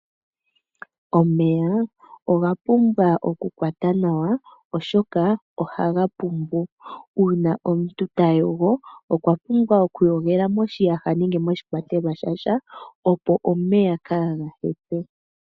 Omeya oga pumbwa oku kwatwa nawa oshoka ohaga pumbu. Ngele omuntu ta yogo okwa pumbwa oku yogela moshiyaha nenge moshikwatelwa shasha opo omeya kaaga hepe.